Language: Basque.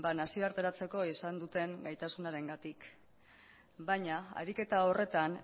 nazioarterako izan duten gaitasunarengatik baina ariketa horretan